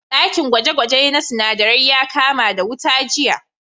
Ɗakin gwaje-gwaje na sinadarai ya kama da wuta jiya.